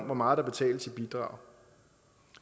hvor meget der betales i bidrag